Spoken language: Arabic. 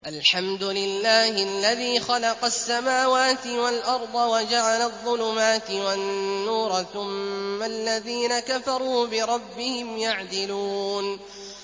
الْحَمْدُ لِلَّهِ الَّذِي خَلَقَ السَّمَاوَاتِ وَالْأَرْضَ وَجَعَلَ الظُّلُمَاتِ وَالنُّورَ ۖ ثُمَّ الَّذِينَ كَفَرُوا بِرَبِّهِمْ يَعْدِلُونَ